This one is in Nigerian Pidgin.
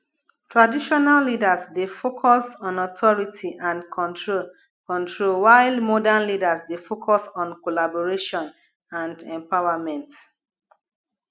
traditional leaders dey focus on authority and control control while modern leaders dey focus on collaboration and empowerment